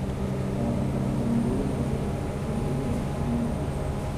Kawo okang� e riwruoge mag oganda, kendo idwaro ratiro maromre.